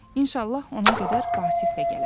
İnşallah ona qədər Vasif də gələr.